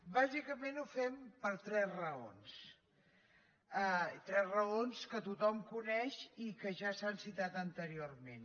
bàsicament ho fem per tres raons tres raons que tothom coneix i que ja s’han citat anteriorment